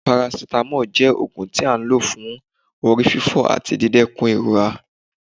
paracetamol jẹ òógun tí a ń lọ fún orí fífọ́ atí dìdèrún irora